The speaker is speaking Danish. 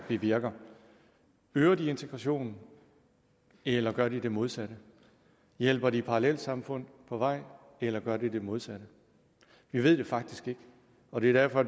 bevirker øger de integrationen eller gør de det modsatte hjælper de parallelsamfund på vej eller gør de det modsatte det ved vi faktisk ikke og derfor